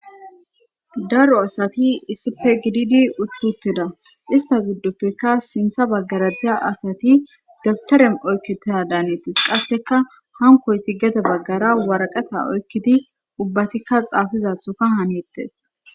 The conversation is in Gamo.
Daro asati issipe gididi uttuteda ista giddoppekka sintha baggaradiya asati datarem oykkete daaneettes qasseka kankoy ti gete baggara waraqata oykkidi ubbatikka xaafizathoka haneettes.